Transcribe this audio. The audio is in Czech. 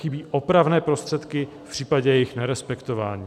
Chybí opravné prostředky v případě jejich nerespektování.